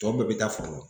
Tɔw bɛɛ bɛ taa foro la